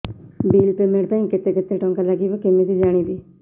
bill payment ପାଇଁ କେତେ କେତେ ଟଙ୍କା ଲାଗିବ କେମିତି ଜାଣିବି